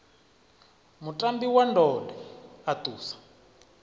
mutambi wa ndode a ṱusa